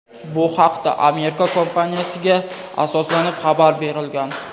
Bu haqda Amerika kompaniyasiga asoslanib xabar berilgan.